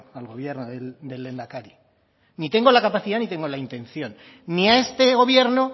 al gobierno del lehendakari ni tengo la capacidad ni tengo la intención ni a este gobierno